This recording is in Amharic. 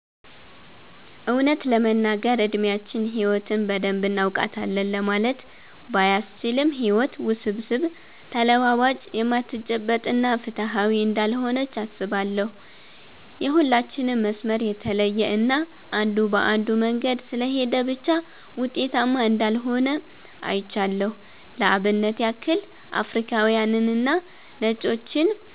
እውነት ለመናገር እድሚያችን ህይወትን በደንብ እናውቃታለን ለማለት ባያስችልም ህይወት ውስብስብ፣ ተለዋዋጭ፣ የማትጨበጥ እና ፍትሃዊ እንዳልሆነች አስባለው። የሁላችንም መስመር የተለየ እና አንዱ በአንዱ መንገድ ስለሄደ ብቻ ውጤታማ እንዳልሆነ አይቻለው። ለአብነት ያክል አፍሪካውያንንና ነጮችን